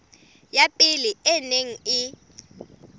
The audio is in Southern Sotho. ya pele e neng e